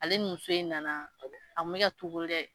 Ale ni muso in nana a kun bɛ ka togo lɛ.